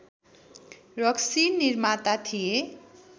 रक्सी निर्माता थिए